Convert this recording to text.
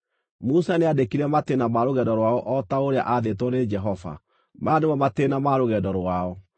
Musa nĩandĩkire matĩĩna ma rũgendo rwao o ta ũrĩa aathĩtwo nĩ Jehova. Maya nĩmo matĩĩna ma rũgendo rwao.